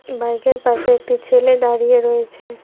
Bike -এর পাশে একটি ছেলে দাঁড়িয়ে রয়েছে।